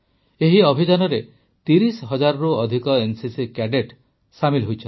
ଏହି ଅଭିଯାନରେ ୩୦ ହଜାରରୁ ଅଧିକ ଏନସିସି କ୍ୟାଡେଟ ସାମିଲ୍ ହୋଇଛନ୍ତି